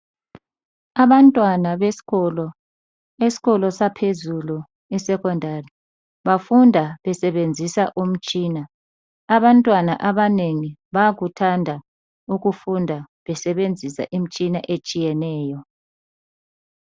Abantwana besikolo esikolo saphezulu e secondary bafunda besebenzisa umtshina, abantwana abanengi bayakuthanda ukufunda besebenzisa imtshina etshiyeneyo.